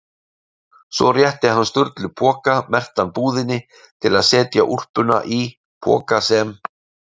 Svo rétti hann Sturlu poka merktan búðinni til að setja úlpuna í- poka sem